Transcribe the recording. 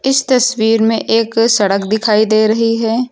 इस तस्वीर में एक सड़क दिखाई दे रही है।